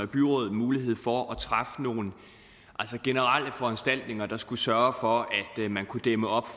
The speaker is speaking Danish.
byråd mulighed for at træffe nogle generelle foranstaltninger der skulle sørge for at man kunne dæmme op